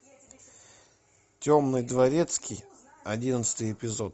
темный дворецкий одиннадцатый эпизод